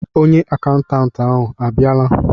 onye akaụntantị ahụ abịala?